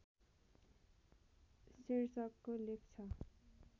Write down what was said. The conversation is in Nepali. शीर्षकको लेख छ